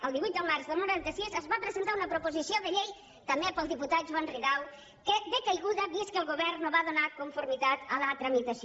el divuit de març del noranta sis es va presentar una proposició de llei també pel diputat joan ridao decaiguda vist que el govern no va donar conformitat a la tramitació